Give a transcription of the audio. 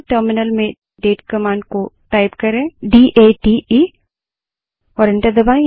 terminal में date command को type करें और एंटर दबायें